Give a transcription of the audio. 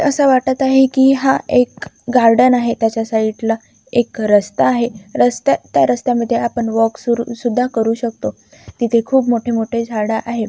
अस वाटत आहे की हा एक गार्डन आहे. त्याच्या साइडला एक रस्ता आहे. रस्ता त्या रस्त्या मध्ये आपण वॉक सुरु सुधा करू शकतो. तिथ खुप मोठेमोठे झाड आहेत.